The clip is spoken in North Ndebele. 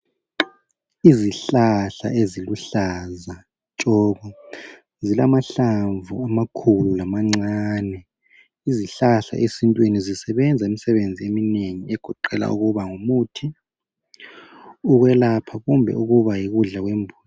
Izihlahla eziluhlaza tshoko zilamahlamvu amakhulu lamancane. Izihlahla esintwini zisebenza imisebenzi eminengi egoqela ukuba ngumuthi ukwelapha kumbe ukuba yikudla kwembuzi.